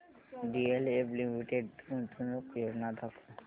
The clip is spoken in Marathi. डीएलएफ लिमिटेड गुंतवणूक योजना दाखव